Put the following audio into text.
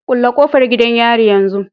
Kulle kofar gidan yari yanzu